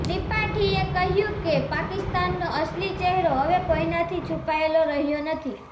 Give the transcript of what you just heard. ત્રિપાઠીએ કહ્યું કે પાકિસ્તાનનો અસલી ચહેરો હવે કોઇનાથી છુપાયેલો રહ્યો નથી